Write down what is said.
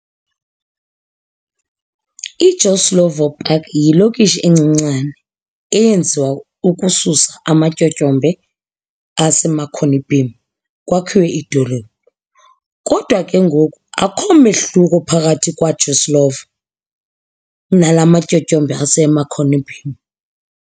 IJoe Slovo Park yiLokishi encinane eyenziwa ukususa amaTyotyombe aseMarconi Beam kwakhiwe idolophu. Kodwa ke ngoku akho mehluko phakathi kwaJoe Slovo nala matyotyombe aseMarconi Beam.